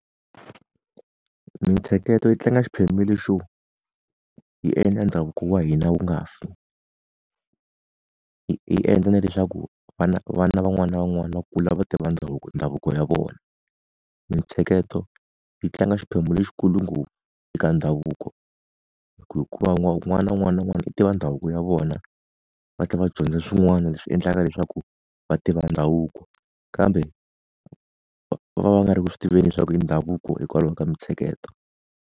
Mintsheketo yi tlanga xiphemu le xo, yi endla ndhavuko wa hina wu nga fi. Yi endla na leswaku vana vana van'wana na van'wana va kula va tiva ndhavuko ndhavuko ya vona. Mintsheketo yi tlanga xiphemu lexikulu ngopfu eka ndhavuko. hikuva n'wana un'wana na un'wana na un'wana u tiva ndhavuko ya vona, va tlhela va dyondza swin'wana leswi endlaka leswaku va tiva ndhavuko kambe va va va nga ri ku swi tiveni leswaku i ndhavuko hikwalaho ka mintsheketo.